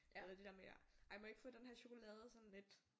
Eller det der med ja ej må jeg ikke få den her chokolade sådan lidt